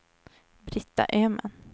Brita Öhman